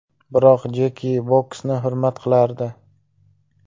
Biroq Jeki boksni hurmat qilardi.